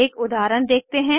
एक उदाहरण देखते हैं